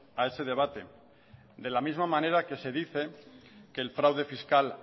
a ese debate de la misma manera que se dice que el fraude fiscal